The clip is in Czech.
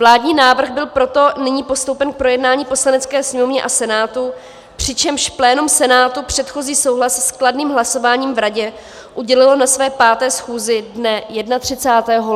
Vládní návrh byl proto nyní postoupen k projednání Poslanecké sněmovně a Senátu, přičemž plénum Senátu předchozí souhlas s kladným hlasováním v Radě udělilo na své 5. schůzi dne 31. ledna tohoto roku.